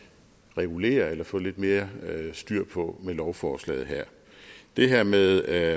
regulere eller få lidt mere styr på med lovforslaget her det her med at